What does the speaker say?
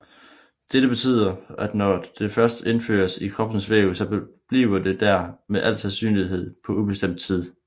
Dette betyder at når det først indføres i kroppens væv så forbliver det der med al sandsynlighed på ubestemt tid